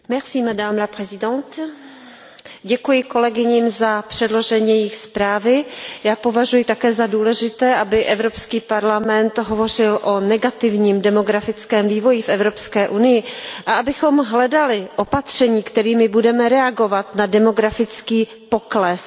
Paní předsedající, děkuji kolegyním za předložení jejich zprávy. Já považuji také za důležité, aby Evropský parlament hovořil o negativním demografickém vývoji v EU a abychom hledali opatření, kterými budeme reagovat na demografický pokles.